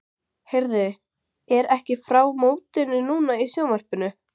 Heyrðu, er ekki frá mótinu núna í sjónvarpinu?